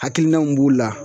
Hakilina min b'o la